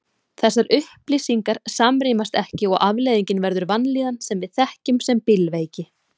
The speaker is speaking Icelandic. Þessar upplýsingar samrýmast ekki og afleiðingin verður vanlíðan sem við þekkjum sem bílveiki.